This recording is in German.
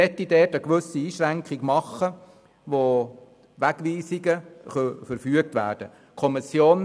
Man möchte dort eine gewisse Einschränkung machen, wo Wegweisungen verfügt werden können.